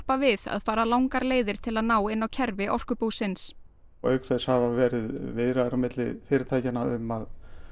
við að fara langar leiðir til að ná inn á kerfi Orkubúsins auk þess hafa verið viðræður á milli fyrirtækjanna um að